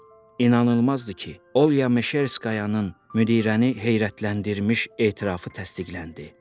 İnanılmazdır ki, Olya Meşerskayanın müdirəni heyrətləndirmiş etirafı təsdiqləndi.